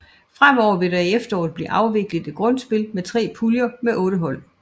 Fremover vil der i efteråret blive afviklet et grundspil med 3 puljer med 8 hold